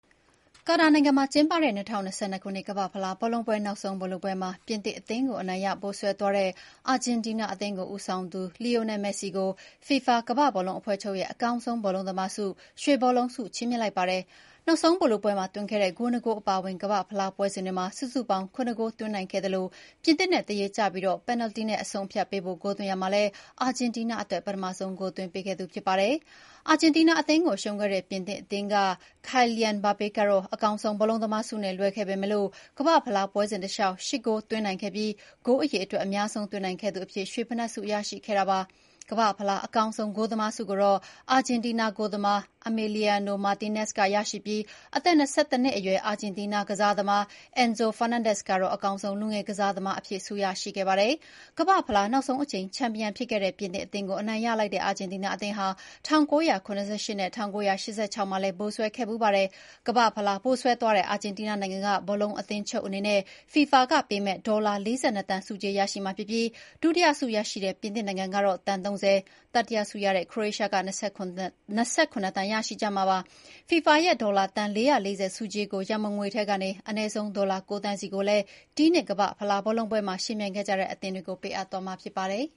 ကာတာနိုင်ငံမှာ ကျင်းပတဲ့ ၂၀၂၂ ခုနှစ် ကမ္ဘာ့ဖလားဘောလုံးပွဲ နောက်ဆုံးဗိုလ်လုပွဲမှာ ပြင်သစ်အသင်းကို အနိုင်ရ ဗိုလ်စွဲသွားတဲ့ အာဂျင်တီးနား အသင်းကို ဦးဆောင်သူ Lionel Messi ကို FIFA ကမ္ဘာ့ဘောလုံးအဖွဲ့ချုပ်ရဲ့ အကောင်းဆုံး ဘောလုံးသမားဆု ရွှေဘောလုံးဆု ချီးမြှင့်လိုက်ပါတယ်။ နောက်ဆုံးဗိုလ်လုပွဲမှာ သွင်းခဲ့တဲ့ ဂိုး ၂ ဂိုး အပါအဝင် ကမ္ဘာ့ဖလား ပွဲစဉ်တွေမှာ စုစုပေါင်း ၇ ဂိုး သွင်းနိုင်ခဲ့သလို၊ ပြင်သစ်နဲ့ သရေကျပြီး ပယ်နယ်တီနဲ့ အဆုံးအဖြတ်ပေးဖို့ ဂိုးသွင်းရာမှာလည်း အာဂျင်တီးနား အတွက် ပထမဆုံး ဂိုးသွင်းပေးခဲ့သူ ဖြစ်ပါတယ်။ အာဂျင်တီးနား အသင်းကို ရှုံးခဲ့တဲ့ ပြင်သစ်အသင်းက Kylian Mbappe ကတော့ အကောင်းဆုံး ဘောလုံးသမားဆုနဲ့ လွဲခဲ့ပေမဲ့ ကမ္ဘာ့ဖလား ပွဲစဉ်တလျှောက် ၈ ဂိုးသွင်းနိုင်ခဲ့ပြီး ဂိုးအရေအတွက် အများဆုံး သွင်းနိုင်ခဲ့သူအဖြစ် ရွှေဖိနပ်ဆု ရရှိခဲ့တာပါ။ ကမ္ဘာ့ဖလား အကောင်းဆုံး ဂိုးသမားဆုကိုတော့ အာဂျင်တီးနားဂိုးသမား Emiliano Martinez ရရှိပြီး၊ အသက် ၂၁ နှစ်အရွယ် အာဂျင်တီးနား ကစားသမား Enzo Fernandez ကတော့ အကောင်းဆုံးလူငယ်ကစားသမားအဖြစ် ဆုရရှိခဲ့ပါတယ်။ ကမ္ဘာ့ဖလား နောက်ဆုံးအကြိမ် ချန်ပီယံ ဖြစ်ခဲ့တဲ့ ပြင်သစ်အသင်းကို အနိုင်ရလိုက်တဲ့ အာဂျင်တီးနား အသင်းဟာ ၁၉၇၈ နဲ့ ၁၉၈၆ မှာလည်း ဗိုလ်စွဲခဲ့ဖူးပါတယ်။ ကမ္ဘာ့ဖလား ဗိုလ်စွဲသွားတဲ့ အာဂျင်တီးနား နိုင်ငံက ဘောလုံးအသင်းချုပ် အနေနဲ့ FIFA ကပေးတဲ့ ဒေါ်လာ ၄၂ သန်း ဆုကြေး ရရှိမှာဖြစ်ပြီး၊ ဒုတိယဆု ရရှိတဲ့ ပြင်သစ်နိုင်ငံကတော့ သန်း ၃၀၊ တတိယဆုရတဲ့ ခရိုအေးရှားက ၂၇ သန်း ရရှိကြမှာပါ။ FIFA ရဲ့ ဒေါ်လာသန်း ၄၄၀ ဆုကြေး ရန်ပုံငွေထဲကနေ အနည်းဆုံး ဒေါ်လာ ၉ သန်းစီကိုလည်း ဒီနှစ် ကမ္ဘာ့ဖလား ဘောလုံးပွဲမှာ ယှဉ်ပြိုင်ခဲ့ကြတဲ့ အသင်းတွေကို ပေးအပ်သွားမှာ ဖြစ်ပါတယ်